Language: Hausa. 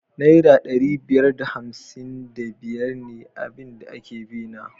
Naira ɗari biyar da hamsin da biyar ne abin da take bina